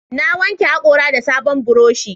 Na wanke haƙora da sabon burushi